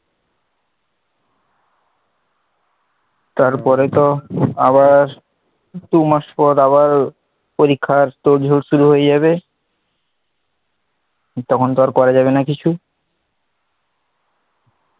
তারপরে তো আবার দু মাস পর আবার, পরীক্ষার তোড় জোড় শুরু হয়ে যাবে, তখন তো আর করা যাবে না কিছু,